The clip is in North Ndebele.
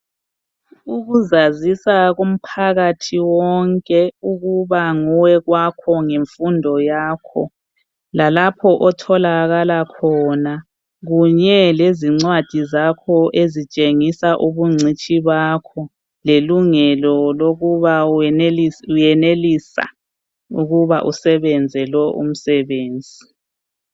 Ukuzazisa komphakathi wonke ukuba nguwe kwakhona ngemfundo yakho lalapho otholakala khona kunye lezincwadi zakho ezitshengisa ubuncutshi bakho lelungelo lokuba uyenelisa ukuba usebenze lo umsebenzi.